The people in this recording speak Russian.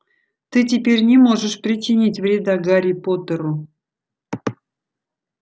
ты теперь не можешь причинить вреда гарри поттеру